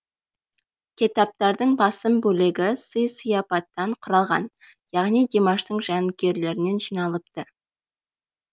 кетаптардың басым бөлігі сый сыяпаттан құралған яғни димаштың жанкүйерлерінен жиналыпты